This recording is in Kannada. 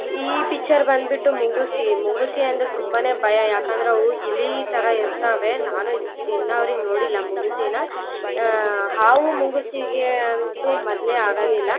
ಈ ಪಿಚ್ಚರ್ ಬಂದ್ಬಿಟ್ಟು ಮುಂಗುಸಿ. ಮುಂಗುಸಿ ಅಂದ್ರೆ ತುಂಬಾನೇ ಭಯ ಯಾಕಂದ್ರೆ ಅವು ಇಲಿತರ ಇರ್ತವೆ ನಾನು ಈದ್ ಇನ್ನು ಅವರಿಗೆ ನೋಡಿಲ್ಲ ಆಹ್ಹ್ಹ್ ಹಾವು ಮುಂಗುಸಿಗೆ ಅಂತೂ ಮೊದಲೇ ಆಗೋದಿಲ್ಲ .